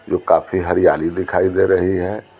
जो काफी हरियाली दिखाई दे रही है।